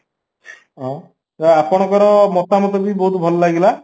ଅଂ ତ ଆପଣଙ୍କର ମତାମତବି ବହୁତ ଭଲ ଲାଗିଲା